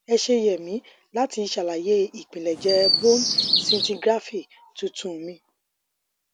ẹ ṣe yè mì láti ṣàlàyé àpilẹjẹ bone scintigraphy tuntun mi